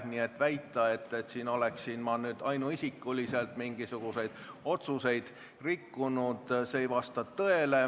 Nii et väita, et ma olen ainuisikuliselt mingisuguseid otsuseid rikkunud – see ei vasta tõele.